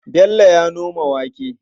Bello ya noma wake.